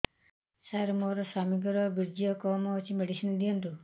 ସାର ମୋର ସ୍ୱାମୀଙ୍କର ବୀର୍ଯ୍ୟ କମ ଅଛି ମେଡିସିନ ଦିଅନ୍ତୁ